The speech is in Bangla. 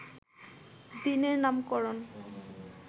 দিনের নামকরণ